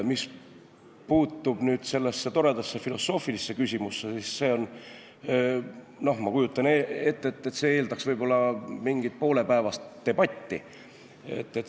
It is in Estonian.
Mis puutub sellesse toredasse filosoofilisse küsimusse, siis see, ma kujutan ette, eeldaks võib-olla mingit poolepäevast debatti.